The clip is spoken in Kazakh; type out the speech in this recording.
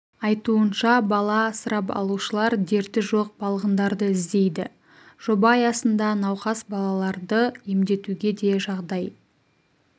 айтуынша бала асырап алушылар дерті жоқ балғындарды іздейді жоба аясында науқас балаларды емдетуге де жағдай